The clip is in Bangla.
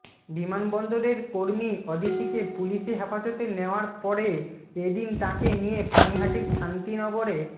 বিমানবন্দরের কর্মী অদিতিকে পুলিশি হেফাজতে নেওয়ার পরে এ দিন তাঁকে নিয়ে পানিহাটির শান্তিনগরের